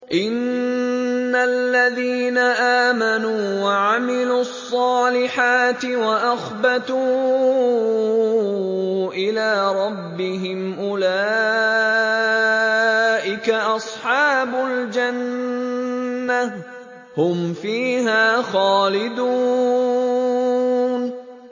إِنَّ الَّذِينَ آمَنُوا وَعَمِلُوا الصَّالِحَاتِ وَأَخْبَتُوا إِلَىٰ رَبِّهِمْ أُولَٰئِكَ أَصْحَابُ الْجَنَّةِ ۖ هُمْ فِيهَا خَالِدُونَ